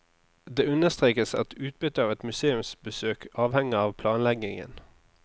Det understrekes at utbyttet av et museumsbesøk avhenger av planleggingen.